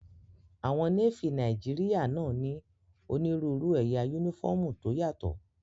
Àwọn Nééfì Nàìjíríyà náà ní onírúurú ẹ̀yà yúnífọ́ọ̀mù tó yàtọ̀